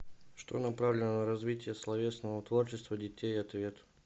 что направлено на развитие словесного творчества детей ответ